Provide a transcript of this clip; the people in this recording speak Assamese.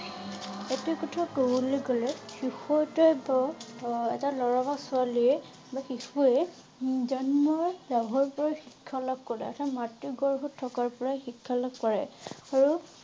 এইটো কথা কবলৈ গলে শিশু এটা অ এটা লৰা বা ছোৱালী বা শিশুৱে জন্ম লাভৰ পুৰা শিক্ষা লাভ কৰে। এটা মাতৃ গৰ্ভত থকাৰ পৰায়ে শিক্ষা লাভ কৰে। আৰু